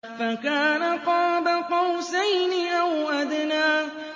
فَكَانَ قَابَ قَوْسَيْنِ أَوْ أَدْنَىٰ